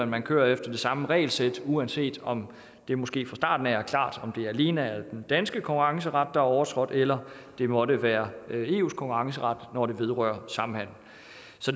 man kører efter det samme regelsæt uanset om det måske fra starten af er klart om det alene er den danske konkurrenceret er overtrådt eller det måtte være eus konkurrenceret når det vedrører samhandel